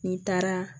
N'i taara